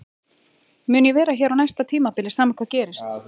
Mun ég vera hér á næsta tímabili sama hvað gerist?